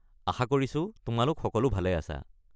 আশা কৰিছো তোমালোক সকলো ভালে আছা।